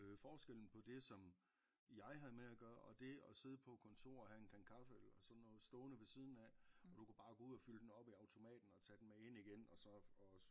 Øh forskellen på det som jeg havde med at gøre og det at sidde på kontor og have en kande kaffe eller sådan noget stående ved siden af og du kunne bare gå ud at fylde den op i automaten og tage den med ind igen og så og